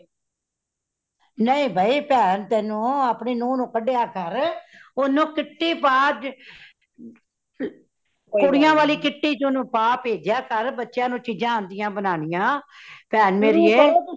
ਨਹੀਂ ਬਈ , ਭੇਣ ਤੈਨੂੰ ਆਪਣੀ ਨੂੰਹ ਨੂੰ ਕੰਡਿਆਂ ਕਰ , ਓਹਨੂੰ kitty ਪਾ ਅੱਜ ਮ ਤ ਕੁੜੀਆਂ ਵਾਲੀ kitty ਚ ਓਨੁ ਪਾ ਬੇਜਯਾ ਕਰ ਬੱਚਿਆਂ ਨੂੰ ਚੀਜਾਂ ਆਉਂਦੀਆਂ ਬਨਾਨੀਆ ਭੈਣ ਮੇਰੀਏ